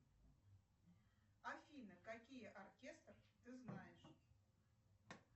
афина какие оркестр ты знаешь